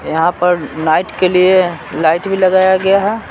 यहाँ पर नाईट के लिए लाइट भी लगाया गया है।